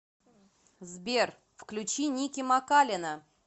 сбер включи ники макалина